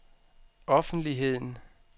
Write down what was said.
offentligheden